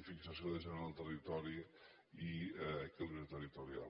i fixació de gent al territori i equilibri territorial